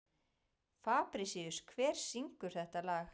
Fabrisíus, hver syngur þetta lag?